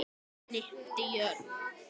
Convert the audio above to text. Hann hnippti í Örn.